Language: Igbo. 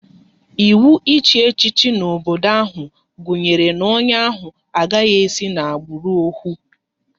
Ịwụ ịchị echichi n'obodo ahụ gunyere na onye ahụ agaghị esi n'agbụrụ ohu